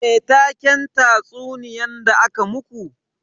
Me taken tatsuniyan da aka muku?